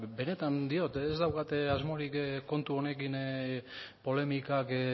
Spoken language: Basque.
benetan diot ez daukat asmorik kontu honekin polemikak